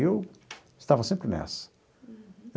Eu estava sempre nessa.